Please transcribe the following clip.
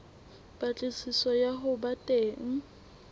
patlisiso ya ho ba teng